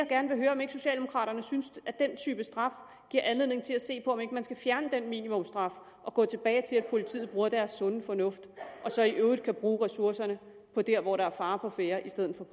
gerne høre om ikke socialdemokraterne synes at den type straf giver anledning til at se på om ikke man skal fjerne den minimumstraf og gå tilbage til at politiet bruger deres sunde fornuft og så i øvrigt bruger ressourcerne der hvor der er fare på færde i stedet